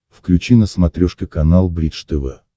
включи на смотрешке канал бридж тв